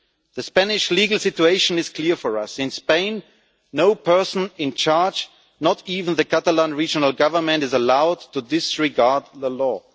The Spanish legal situation is clear for us in Spain, no person in charge, not even the Catalan regional government, is allowed to disregard the law.